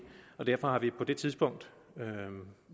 og derfor har vi på det tidspunkt